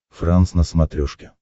франс на смотрешке